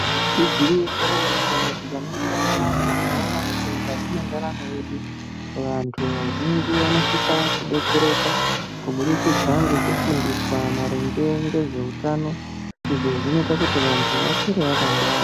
Igwinyiso remene-mene tikaningira nyamashi tinoona kuti mukati mendaramo yedu vantu vazhinji vanosisa kudetsereka kuburikidza ngekufundiswa maringe ngezveutano izvo zvinoite kuti vantu vakure vakangwara.